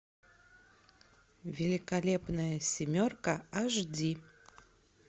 великолепная семерка аш ди